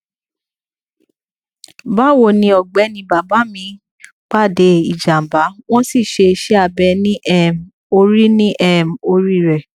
bawoni ọgbẹni bàbá mi pàdé ìjàmbá wọn sì ṣe iṣẹ abẹ ní um orí ní um orí rẹ